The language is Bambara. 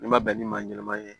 N'i ma bɛn ni maa ɲɛnɛma ye